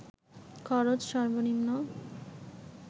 খরচ সর্বনিম্ন